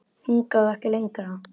Hingað og ekki lengra.